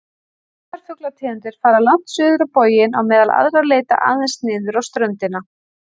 Sumar fuglategundir fara langt suður á boginn á meðan aðrar leita aðeins niður á ströndina.